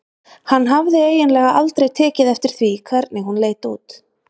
Hann hafði eiginlega aldrei tekið eftir því hvernig hún leit út.